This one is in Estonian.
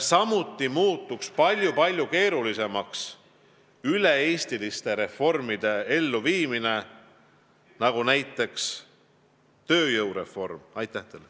Samuti muutuks palju-palju keerulisemaks üle-eestiliste reformide, nagu näiteks tööjõureformi elluviimine.